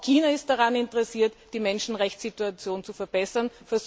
Auch China ist daran interessiert, die Menschenrechtssituation zu verbessern.